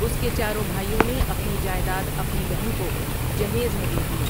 اس کے چاروں بھائیوں نے اپنی جائیداد اپنی بہن کو جہیز میں دے دی ۔